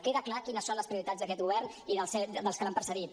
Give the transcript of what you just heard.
queda clar quines són les prioritats d’aquest govern i dels que l’han precedit